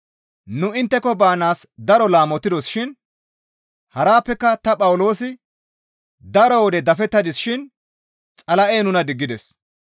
Nu intteko baanaas daro laamotidos shin harappeka ta Phawuloosi daro wode dafettadis shin Xala7ey nuna diggides.